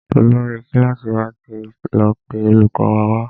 Olórí kílàsì wà tí lọ pé olùkó wa wá.